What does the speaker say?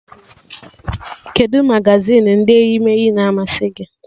Kedụ magazin ndị eyimeeyi na-amasị gị?